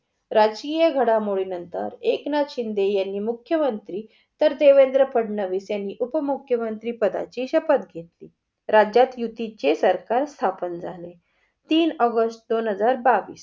राष्टीय घडामोडी नंतर एकनाथ शिंदे यांनी मुख्य मंत्री तर देवेन्द्र फडणविस यांनी उपमुख्यमंत्री पदाची शपत घेतली. राज्यात युतीचे सरकार स्थापन झाले. तीन ऑगस्ट दोन हजार बावीस.